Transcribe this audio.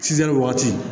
wagati